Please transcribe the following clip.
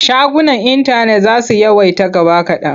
Shagunan intanet za su yawaita gaba kaɗan.